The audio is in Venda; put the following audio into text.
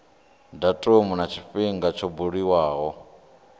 datumu na tshifhinga tsho buliwaho